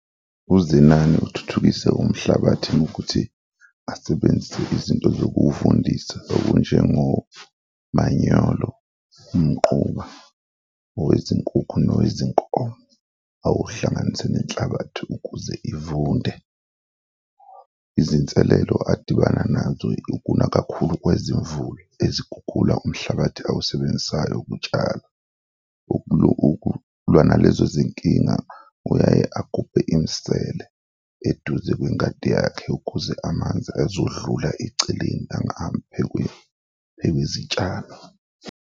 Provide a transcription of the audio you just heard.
UZenani uthuthukise umhlabathi ngokuthi asebenzise izinto zokuwuvundisa okunjengo manyolo, umquba, owezinkukhu nowezinkomo, awuhlanganise nenhlabathi ukuze ivunde. Izinselelo adibana nazo ukuna kakhulu kwezimvula, izikhukhula, umhlabathi awusebenzisayo ukutshala, ukulwa nalezo zinkinga, uyaye agubhe imisele eduze kwengadi yakhe ukuze amanzi ezodlula eceleni, angahambi phezu kwezitshalo.